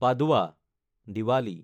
পাদৱা (Diwali)